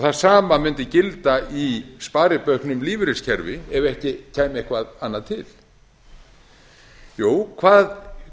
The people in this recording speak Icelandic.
það sama mundi gilda í sparibauknum lífeyriskerfi ef ekki kæmi eitthvað annað til jú